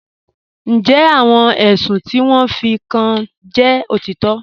Ǹjẹ́ àwọn èṣùn ti wọn fí kàn jẹ́ otitọ́?